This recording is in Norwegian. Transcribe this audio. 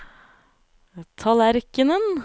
tallerkenen